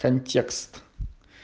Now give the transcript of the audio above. контекст